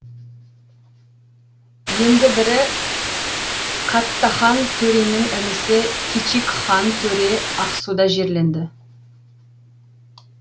енді бірі каттахан төренің інісі кичикхан төре ақсуда жерленді